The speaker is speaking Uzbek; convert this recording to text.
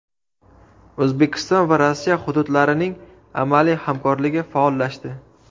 O‘zbekiston va Rossiya hududlarining amaliy hamkorligi faollashdi.